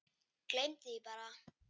Gleymdi því bara.